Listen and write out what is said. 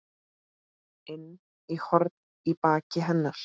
inn horn í baki hennar.